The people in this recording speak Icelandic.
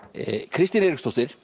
Kristín Eiríksdóttir